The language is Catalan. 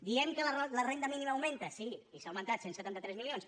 diem que la renda mínima augmenta sí i s’ha augmentat cent i setanta tres milions